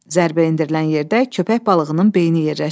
Zərbə endirilən yerdə köpək balığının beyni yerləşirdi.